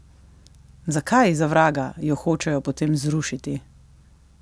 Zakaj, za vraga, jo hočejo potem zrušiti?